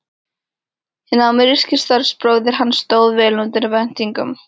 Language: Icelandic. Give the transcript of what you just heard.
Hinn ameríski starfsbróðir hans stóð vel undir væntingum.